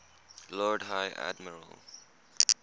lord high admiral